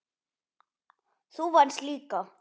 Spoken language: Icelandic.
Þú venst líka.